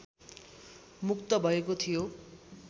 मुक्त भएको थियो